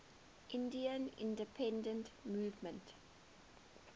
indian independence movement